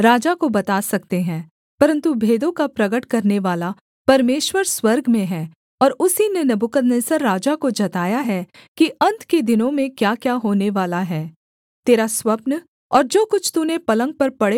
परन्तु भेदों का प्रगट करनेवाला परमेश्वर स्वर्ग में है और उसी ने नबूकदनेस्सर राजा को जताया है कि अन्त के दिनों में क्याक्या होनेवाला है तेरा स्वप्न और जो कुछ तूने पलंग पर पड़े हुए देखा वह यह है